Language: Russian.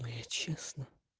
но я честно